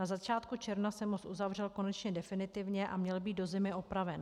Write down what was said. Na začátku června se most uzavřel konečně definitivně a měl být do zimy opraven.